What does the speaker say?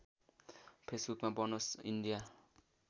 फेसबुकमा बनोस् इन्डिया